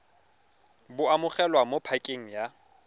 bo amogelwa mo pakeng ya